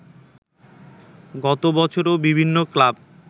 গত বছরও বিভিন্ন ক্লাব